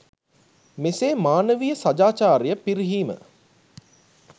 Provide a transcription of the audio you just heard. මෙසේ මානවීය සදාචාරය පිරිහීම